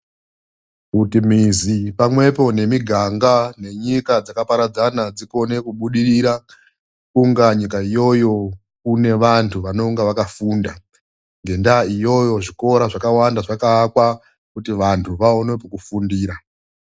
Kuti mizi pamwepo nemiganga nenyika dzakaparadzana dzikone kuburirira kunga nyika iyoyo une vantu vanenge vakafunda. Ngendaa iyoyo zvikoro zvakavanda zvakavakwa kuti vantu vaone kwekufundira.